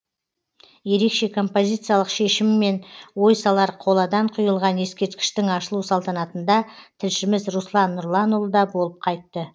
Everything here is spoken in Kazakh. ерекше композициялық шешімімен ой салар қоладан құйылған ескерткіштің ашылу салтанатында тілшіміз руслан нұрланұлы да болып қайтты